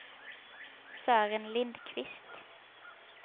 Sören Lindquist